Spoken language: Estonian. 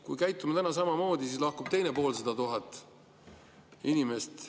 Kui käitume täna samamoodi, siis lahkub teine poolsada tuhat inimest.